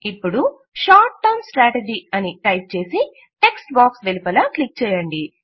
ఇపుడు short term strategy అని type చేసి టెక్ట్స్ బాక్స్ వెలుపల క్లిక్ చేయండి